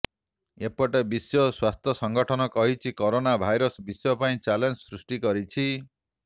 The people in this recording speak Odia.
ଏପଟେ ବିଶ୍ବ ସ୍ବସ୍ଥ୍ୟ ସଙ୍ଗଠନ କହିଛି କରୋନା ଭାଇରସ ବିଶ୍ବ ପାଇଁ ଚ୍ୟାଲେଞ୍ଜ ସୃଷ୍ଟି କରିଛି